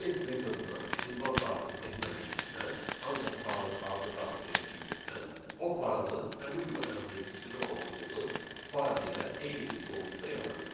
Save metoduna ünvan daxil etmədiyimizdən, ancaq faylın adını daxil etdiyimizdən o faylı həmin bu əmrin icra olunduğu fayl ilə eyni bir qovluqda yaradacaq.